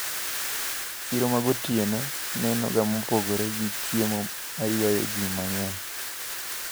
Chiro magotieno nenoga mopogre, gi chiemo maywayo ji mang`eny.